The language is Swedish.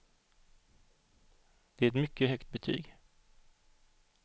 Det är ett mycket högt betyg.